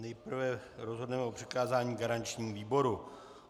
Nejprve rozhodneme o přikázání garančnímu výboru.